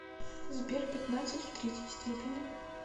сбер пятнадцать в третьей степени